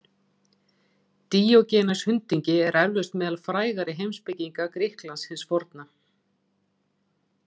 Díógenes hundingi er eflaust meðal frægari heimspekinga Grikklands hins forna.